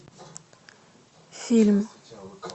фильм